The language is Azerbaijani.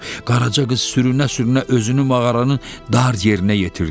Qaraca qız sürünə-sürünə özünü mağaranın dar yerinə yetirdi.